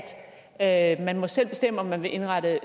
at man selv må bestemme om man vil indrette